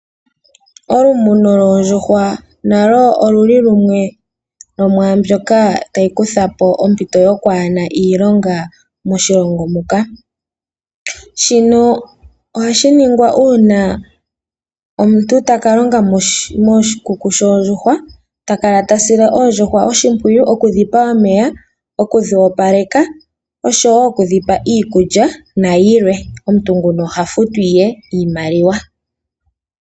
Olumumo lwoondjuhwa nalo otalukuthapo ompito yokukala aantu yaana iilonga moshilongo muka, shino ohashi ningwa uuna omuntu takalonga moshikunino shoondjuhwa mono hakala tedhi sile oshimpwiyu tedhipe iikulya nomeya nomuntu nguka ohafutwa.